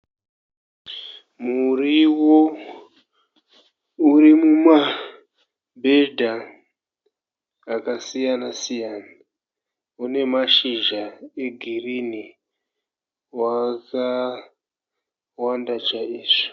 Muriwo uri mumabhedha akasiyana siyana . Une mashizha egirini. Wakawanda chaizvo.